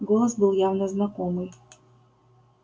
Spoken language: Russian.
голос был явно знакомый